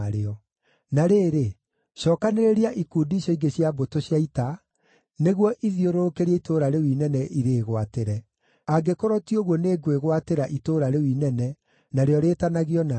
Na rĩrĩ, cookanĩrĩria ikundi icio ingĩ cia mbũtũ cia ita, nĩguo ithiũrũrũkĩrie itũũra rĩu inene irĩĩgwatĩre. Angĩkorwo ti ũguo nĩngwĩgwatĩra itũũra rĩu inene, narĩo rĩĩtanagio na niĩ.”